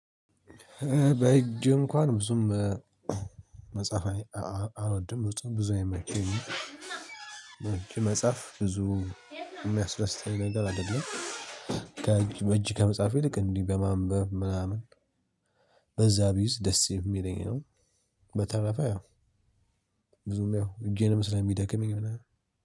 በእጅ እንኳን ብዙም መጽሐፍ እኔ አልወድም ብዙ ብዙ አይመቸኝም። በእጅ መጽሐፍ ብዙ የሚያስደስተኝ ነገር አይደለም። ከእጅ በእጅ ከመጽሐፍ ይልቅ እንዲህ በማንበብ ምናምን በዛ ቢይዝ ደስ የሚለኝ ነው። በተረፈ ያው ብዙም ያው እጄንም ስለሚደክመኝ ምናምን